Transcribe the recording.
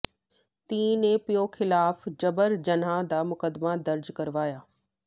ਧੀ ਨੇ ਪਿਓ ਿਖ਼ਲਾਫ਼ ਜਬਰ ਜਨਾਹ ਦਾ ਮੁਕੱਦਮਾ ਦਰਜ ਕਰਵਾਇਆ